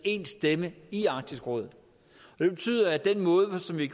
én stemme i arktisk råd og det betyder at den måde som vi